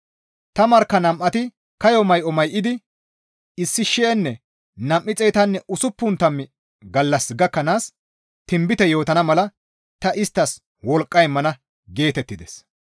Ta markka nam7ati kayo may7o may7idi 1,260 gallas gakkanaas tinbite yootana mala ta isttas wolqqa immana» geetettides.